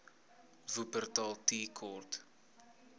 wupperthal tea court